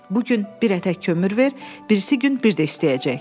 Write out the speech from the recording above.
Bu gün bir ətək kömür ver, birisi gün bir də istəyəcək.